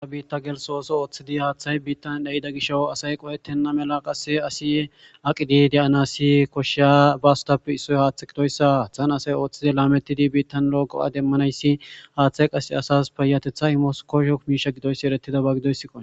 aa biitta gelso ooso ooththidi haaththay biittan dheyida gisho asay qohettenna mela qase asi aqidi deyanassi koshiya bastape issoy haaththa gidoyssa haaththan asay ooththidi laamettidi biittan looqo7a demmanayssi haaththay qase asas peyatetha imos koshokmiisha gidoyssi eretida ba gidoysiqo